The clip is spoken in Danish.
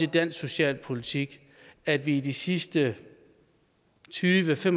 dansk socialpolitik at vi i de sidste tyve til